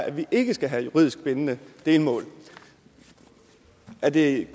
at vi ikke skal have juridisk bindende delmål er det